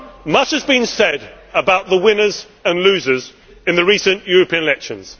Much has been said about the winners and losers in the recent European elections.